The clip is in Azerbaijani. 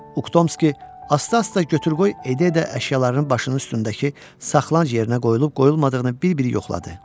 Uktomski asta-asta götür-qoy edə-edə əşyalarının başının üstündəki saxlanclıq yerinə qoyulub-qoyulmadığını bir-bir yoxladı.